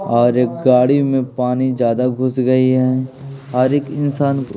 और एक गाड़ी में पानी ज्यादा घुस गई हैं और एक इंसान --